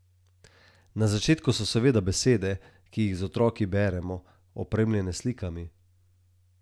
Na začetku so seveda besede, ki jih z otroki beremo, opremljene s slikami.